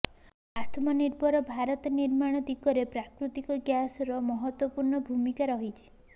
ଆତ୍ମନିର୍ଭର ଭାରତ ନିର୍ମାଣ ଦିଗରେ ପ୍ରାକୃତିକ ଗ୍ୟାସର ମହତ୍ୱପୂର୍ଣ୍ଣ ଭୂମିକା ରହିଛି